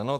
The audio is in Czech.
Ano.